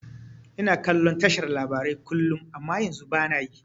Ina kallon tashar labarai kullum amma yanzu bana yi